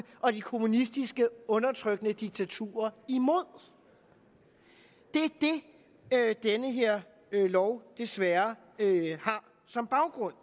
og de kommunistiske undertrykkende diktaturer imod det er det den her lov desværre har som baggrund